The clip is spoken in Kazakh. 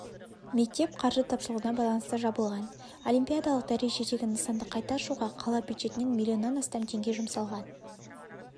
мектеп қаржы тапшылығына байланысты жабылған олимпиадалық дәрежедегі нысанды қайта ашуға қала бюджетінен миллионнан астам теңге жұмсалған